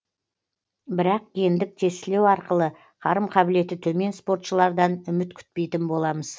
бірақ гендік тестілеу арқылы қарым қабілеті төмен спортшылардан үміт күтпейтін боламыз